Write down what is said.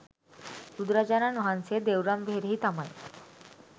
බුදුරජාණන් වහන්සේ දෙව්රම් වෙහෙරෙහි තමයි